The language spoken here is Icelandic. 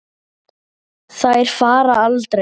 Þær fara aldrei.